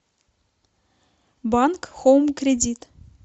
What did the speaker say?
банк хоум кредит